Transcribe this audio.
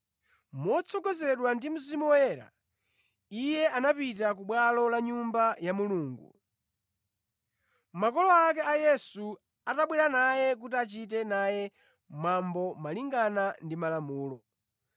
Motsogozedwa ndi Mzimu Woyera, iye anapita ku bwalo la Nyumba ya Mulungu. Makolo ake a Yesu atabwera naye kuti achite naye mwambo malingana ndi malamulo,